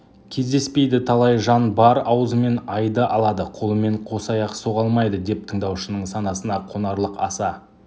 кездеспейді талай жан бар аузымен айды алады қолымен қосаяқ соға алмайды деп тыңдаушының санасына қонарлық аса